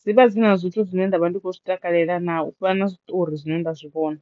dzi vha dzi na zwithu zwine nda vha ndi khou zwi takalela naa u fana na zwiṱori zwine nda zwi vhona.